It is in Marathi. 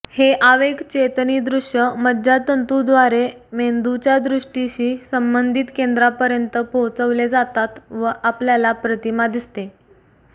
हे आवेगचेतनी दृश्य मज्जातंतूद्वारे मेंदूच्या दृष्टीशी संबंधीत केंद्रांपर्यंत पोहोचवले जातात व आपल्याला प्रतिमा दिसते